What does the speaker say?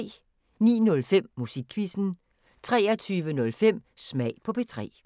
09:05: Musikquizzen 23:05: Smag på P3